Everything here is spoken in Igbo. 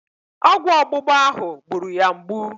Ọgwụ ọgbụgba ahụ gburu ya mgbu.